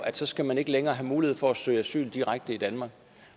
at så skal man ikke længere have mulighed for at søge asyl direkte i danmark